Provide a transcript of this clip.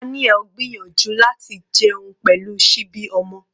Daniel gbìyànjú láti jẹun pẹ̀lú síbi ọmọ.